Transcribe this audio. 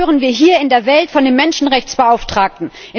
Was hören wir hier in der Welt von dem Menschenrechtsbeauftragten?